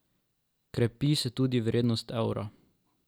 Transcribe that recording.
Krepi se tudi vrednost evra.